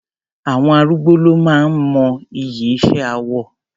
Àwọn arúgbó ló máa ń mọ iyì iṣẹ́ awọ.